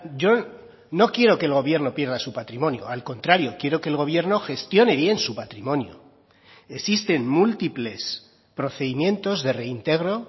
yo no quiero que el gobierno pierda su patrimonio al contrario quiero que el gobierno gestione bien su patrimonio existen múltiples procedimientos de reintegro